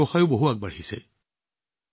তেওঁলোকৰ কামো ভালদৰে আগবাঢ়িছে